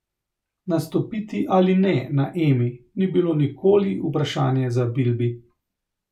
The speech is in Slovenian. Nastopiti ali ne na Emi ni bilo nikoli vprašanje za Bilbi.